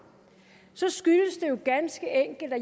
så skyldes det jo ganske enkelt at